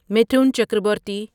Mithun Chakraborty